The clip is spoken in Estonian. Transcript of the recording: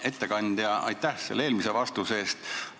Hea ettekandja, aitäh eelmise vastuse eest!